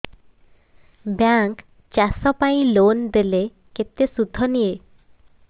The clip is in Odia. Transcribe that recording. ବ୍ୟାଙ୍କ୍ ଚାଷ ପାଇଁ ଲୋନ୍ ଦେଲେ କେତେ ସୁଧ ନିଏ